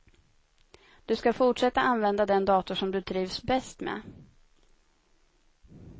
Du skall fortsätta använda den dator som du trivs bäst med.